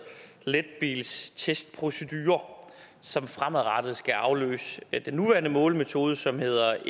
letbilstestprocedure som fremadrettet skal afløse den nuværende målemetode som hedder